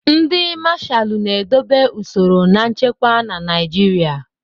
Ndị Mashalu na-edobe usoro na nchekwa na Naijiria.